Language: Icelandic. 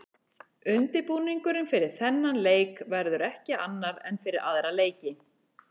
Undirbúningurinn fyrir þennan leik verður ekki annar en fyrir aðra leiki.